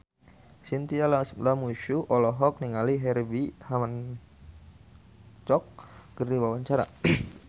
Chintya Lamusu olohok ningali Herbie Hancock keur diwawancara